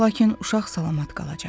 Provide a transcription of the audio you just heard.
Lakin uşaq salamat qalacaq.